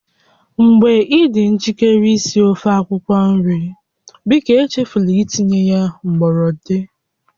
Mgbe ị dị njikere isi ofe akwukwo nri, biko echefula itinye gbọrọndị